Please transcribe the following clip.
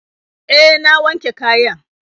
Eh, na wanke kayan.